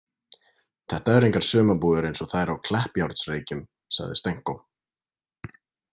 Þetta eru engar sumarbúðir eins og þær á Kleppjárnsreykjum, sagði Stenko.